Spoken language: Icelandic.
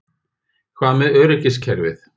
Hvað með öryggiskerfið?